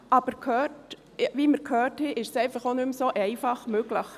Aber wie wir gehört haben, ist es nicht mehr so einfach möglich.